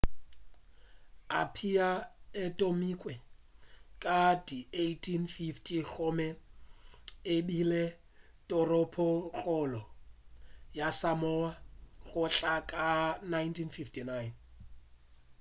apia e thomilwe ka di 1850 gomme ebile toropokgolo ya samoa go tloga ka 1959